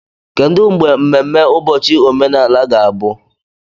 Kedu mgbe mmemme ụbọchị omenala ga-abụ?